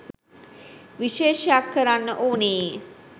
විශේෂයක් කරන්න ඕනේ.